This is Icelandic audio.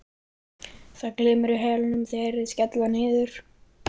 Það glymur í hælunum þegar þeir skella niður.